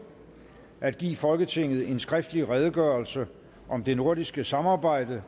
at give folketinget en skriftlig redegørelse om det nordiske samarbejde